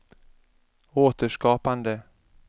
återskapande